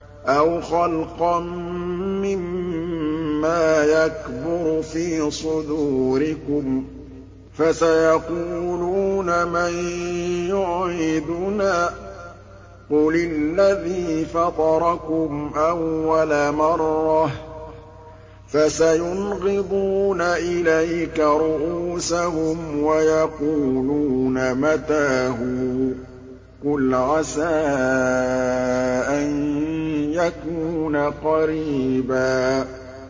أَوْ خَلْقًا مِّمَّا يَكْبُرُ فِي صُدُورِكُمْ ۚ فَسَيَقُولُونَ مَن يُعِيدُنَا ۖ قُلِ الَّذِي فَطَرَكُمْ أَوَّلَ مَرَّةٍ ۚ فَسَيُنْغِضُونَ إِلَيْكَ رُءُوسَهُمْ وَيَقُولُونَ مَتَىٰ هُوَ ۖ قُلْ عَسَىٰ أَن يَكُونَ قَرِيبًا